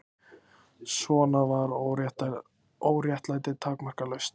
Svona var óréttlætið takmarkalaust.